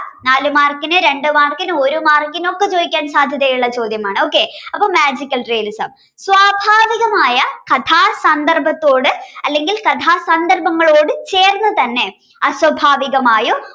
നാലു മാർക്കിന് രണ്ടു മാർക്കിന് ഒരു മാർക്കിന ഒക്കെ ചോദിക്കാൻ സാധ്യതയുള്ള ചോദ്യമാണ് okay അപ്പോ magical realism സ്വാഭാവികമായ കഥാസന്ദർഭത്തോട് അല്ലെങ്കിൽ കഥാസന്ദർഭങ്ങളോട് ചേർന്നു തന്നെ അസ്വാഭാവികമായോ